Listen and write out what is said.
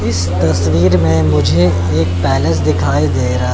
इस तस्वीर में मुझे एक पैलेस दिखाई दे रहा--